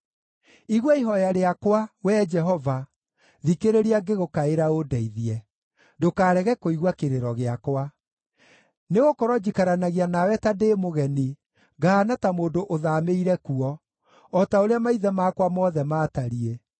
“Igua ihooya rĩakwa, Wee Jehova, thikĩrĩria ngĩgũkaĩra ũndeithie; ndũkarege kũigua kĩrĩro gĩakwa. Nĩgũkorwo njikaranagia nawe ta ndĩ mũgeni, ngahaana ta mũndũ ũthaamĩire kuo, o ta ũrĩa maithe makwa mothe maatariĩ.